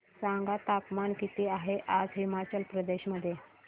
सांगा तापमान किती आहे आज हिमाचल प्रदेश मध्ये